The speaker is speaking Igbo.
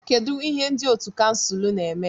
Kedu ihe ndị otu kansụl na-eme?